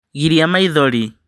Giria maithori